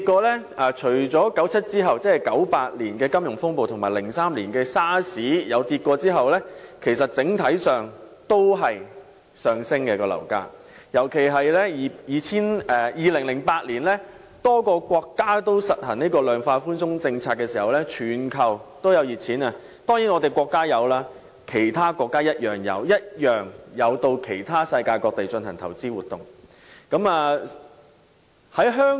樓市除了在1997年後1998年的金融風暴和2003年的 SARS 曾經下跌外，樓價整體上都是上升的，特別是當2008年多個國家均實行量化寬鬆政策，全球充斥熱錢，我們的國家甚至其他國家均有到世界各地進行投資活動。